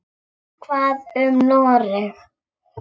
Hvað um Noreg?